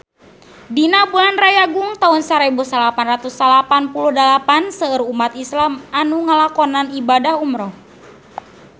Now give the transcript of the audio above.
Dina bulan Rayagung taun sarebu salapan ratus salapan puluh dalapan seueur umat islam nu ngalakonan ibadah umrah